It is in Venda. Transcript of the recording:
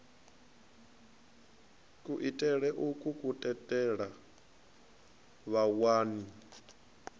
kuitele ukwu ku tendela vhawani